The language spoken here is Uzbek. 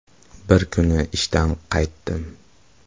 “Bir kuni ishdan qaytdim.